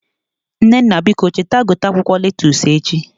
Nnenna biko cheta gote akwụkwọ lettusu echi